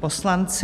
poslanci...